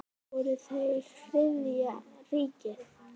Voru þeir Þriðja ríkið?